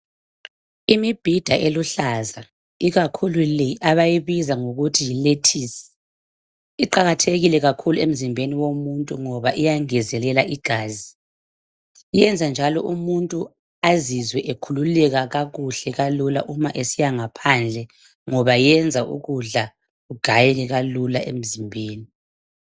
Imibhida eluhlaza ikakhulu le abayibiza ngokuthi yilethisi iqakathekile kakhulu emzimbeni womuntu ngoba iyangezelela igazi. Iyenza njalo umuntu azizwe ekhululeka kakuhle kalula uma esiya ngaphandle ngoba yenza ukudla kugayeke kalula emzimbeni.